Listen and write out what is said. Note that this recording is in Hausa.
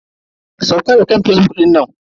Sauka daga kan fazbuk dinnan.